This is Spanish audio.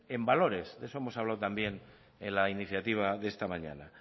en valores de eso hemos hablado también en la iniciativa de esta mañana